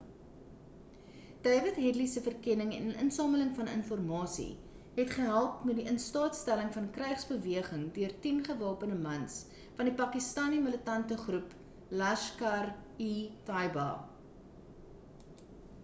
dawid headly se verkenning en insameling van informasie het gehelp met die in staat stelling van 'n krygsbeweging deur 10 gewapende mans van die pakistani militante groep laskhar-e-taiba